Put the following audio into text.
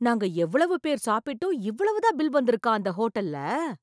நாங்க எவ்வளவு பேர் சாப்பிட்டும் இவ்வளவுதான் பில் வந்து இருக்கா அந்த ஹோட்டல்ல!